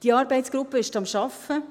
Diese Arbeitsgruppe ist an der Arbeit.